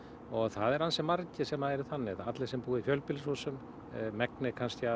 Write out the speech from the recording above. og það eru ansi margir sem eru þannig allir sem búa í fjölbýlishúsum megnið